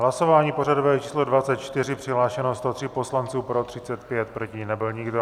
Hlasování pořadové číslo 24, přihlášeno 103 poslanců, pro 35, proti nebyl nikdo.